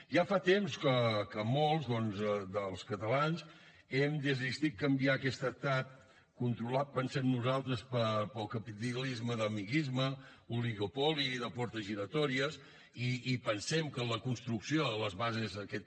ja fa temps que molts dels catalans hem decidit canviar aquest estat controlat pensem nosaltres pel capitalisme d’amiguisme oligopoli i de portes giratòries i pensem que en la construcció de les bases d’aquest